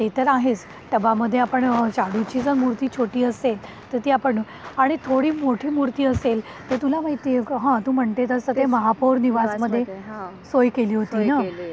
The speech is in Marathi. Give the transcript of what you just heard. ते तर आहेच टबामध्ये आपण शाडू जर मूर्ती छोटी असेल तर ती आपण आणि थोडी मोठी मुर्ती असेल तर तुला माहितीये हां तूम्हणते तसं महापौर निवासामध्ये हा सोय केली होती.